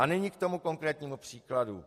A nyní k tomu konkrétnímu příkladu.